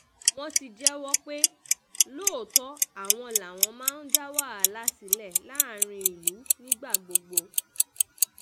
wọ́n ti um jẹ́wọ́ pé lóòótọ́ àwọn làwọn máa ń dá wàhálà sílẹ̀ láàrin ìlú nígbà gbogbo um